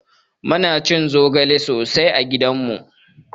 Muna cin zogale sosai a gidanmu